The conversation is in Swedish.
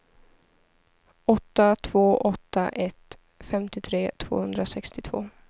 åtta två åtta ett femtiotre tvåhundrasextiotvå